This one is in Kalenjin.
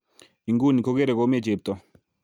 Iguni kokere komie chepto